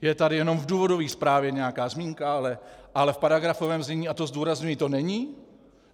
Je tady jenom v důvodové zprávě nějaká zmínka, ale v paragrafovém znění, a to zdůrazňuji, to není.